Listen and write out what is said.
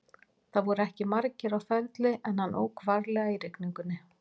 Það voru ekki margir á ferli en hann ók varlega í rigningunni.